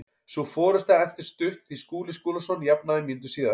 Sú forusta entist stutt því Skúli Skúlason jafnaði mínútu síðar.